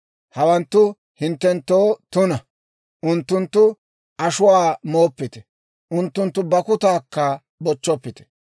Hawanttu hinttenttoo tuna; unttunttu ashuwaa mooppite; unttunttu bakkutaakka bochchoppite.